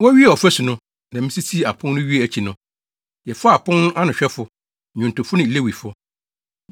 Wowiee ɔfasu no, na misisii apon no wiee akyi no, yɛfaa apon no anohwɛfo, nnwontofo ne Lewifo.